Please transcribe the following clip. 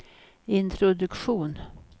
introduktion